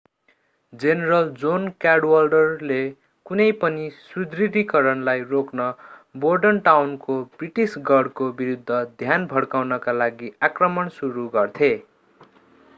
general John क्याडवाल्डरले कुनै पनि सुदृढीकरणलाई रोक्न बोर्डनटाउनको ब्रिटिस गढको विरूद्ध ध्यान भड्काउका लागि आक्रमण सुरु गर्थे